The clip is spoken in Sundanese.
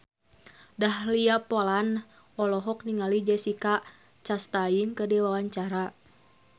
Dahlia Poland olohok ningali Jessica Chastain keur diwawancara